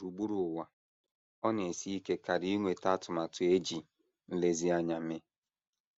Gburugburu ụwa, ọ na - esi ike karị inweta atụmatụ e ji nlezianya mee.